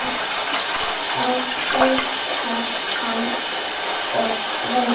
Þá flautar hann og veifar.